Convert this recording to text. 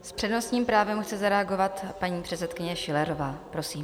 S přednostním právem chce zareagovat paní předsedkyně Schillerová, prosím.